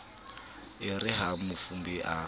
e re ha mafube a